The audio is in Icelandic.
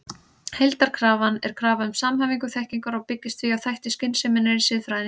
Heildarkrafan er krafa um samhæfingu þekkingar og byggist því á þætti skynseminnar í siðfræðinni.